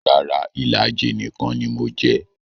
Rara, ìlàjì nìkan ni mo jẹ